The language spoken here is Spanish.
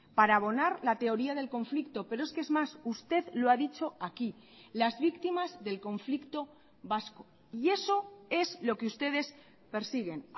para abonar la teoría del conflicto pero es que es más usted lo ha dicho aquí las víctimas del conflicto vasco y eso es lo que ustedes persiguen